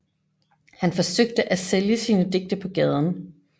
Han forsøgte at sælge sine digte på gaden